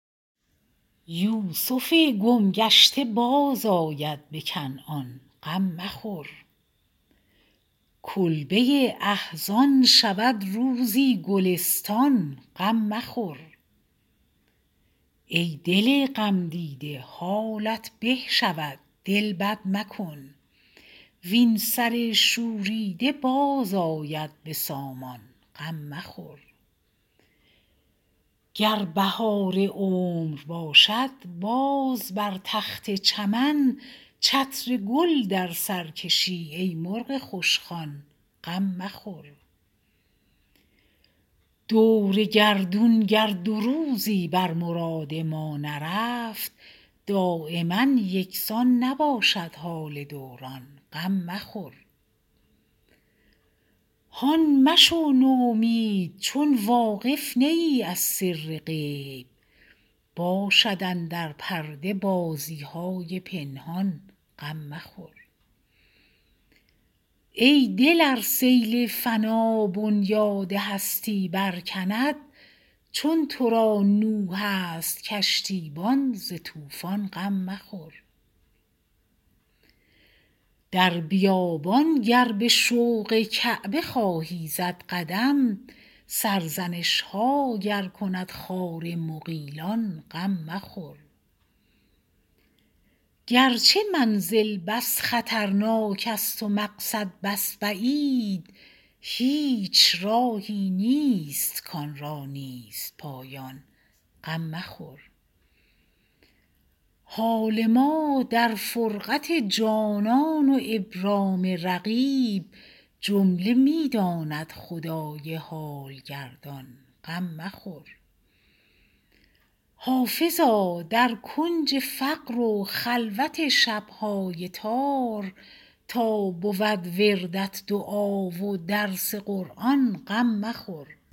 یوسف گم گشته بازآید به کنعان غم مخور کلبه احزان شود روزی گلستان غم مخور ای دل غمدیده حالت به شود دل بد مکن وین سر شوریده باز آید به سامان غم مخور گر بهار عمر باشد باز بر تخت چمن چتر گل در سر کشی ای مرغ خوشخوان غم مخور دور گردون گر دو روزی بر مراد ما نرفت دایما یکسان نباشد حال دوران غم مخور هان مشو نومید چون واقف نه ای از سر غیب باشد اندر پرده بازی های پنهان غم مخور ای دل ار سیل فنا بنیاد هستی برکند چون تو را نوح است کشتیبان ز طوفان غم مخور در بیابان گر به شوق کعبه خواهی زد قدم سرزنش ها گر کند خار مغیلان غم مخور گرچه منزل بس خطرناک است و مقصد بس بعید هیچ راهی نیست کآن را نیست پایان غم مخور حال ما در فرقت جانان و ابرام رقیب جمله می داند خدای حال گردان غم مخور حافظا در کنج فقر و خلوت شب های تار تا بود وردت دعا و درس قرآن غم مخور